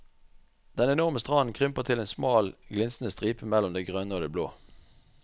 Den enorme stranden krymper til en smal glinsende stripe mellom det grønne og det blå.